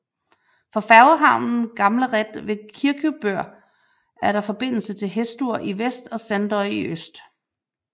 Fra færgehavnen Gamlarætt ved Kirkjubøur er der forbindelse til Hestur i vest og Sandoy i syd